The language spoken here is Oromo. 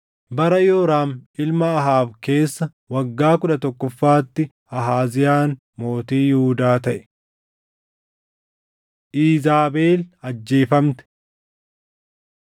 Bara Yooraam ilma Ahaab keessa waggaa kudha tokkoffaatti Ahaaziyaan mootii Yihuudaa taʼe. Iizaabel Ajjeefamte